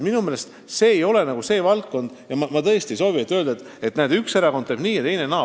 Minu meelest see ei ole valdkond, mille puhul saab öelda, et näe, üks erakond teeb nii ja teine naa.